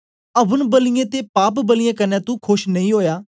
oven बलियें ते पाप बलियें कन्ने तू खोश नेई ओया